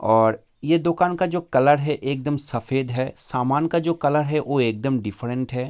और ये दुकान का जो कलर है एकदम सफ़ेद है सामान का कलर है एकदम दिफरेन्ट है।